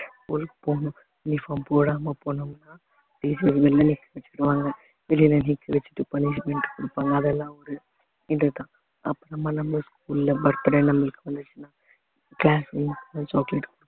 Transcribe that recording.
ஒரு பொண்ணு uniform போடாம போனோம்னா teacher வெளியில நிக்கவச்சிருவாங்க வெளியில நிக்க வச்சிட்டு punishment கொடுப்பாங்க அதெல்லாம் வந்து இது தான் அப்புறமா நம்ம school அ birthday நம்மளுக்கு வந்துச்சின்னா chocolate